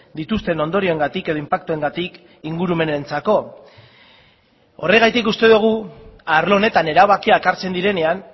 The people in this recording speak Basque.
dituzten ondorioengatik edo inpaktuengatik ingurumenentzako horregatik uste dugu arlo honetan erabakiak hartzen direnean